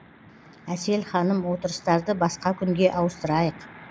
әсел ханым отырыстарды басқа күнге ауыстырайық